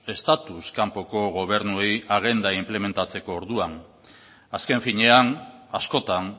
estatus kanpoko gobernuei agenda inplementatzeko orduan azken finean askotan